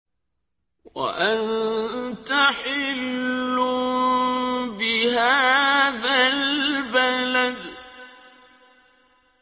وَأَنتَ حِلٌّ بِهَٰذَا الْبَلَدِ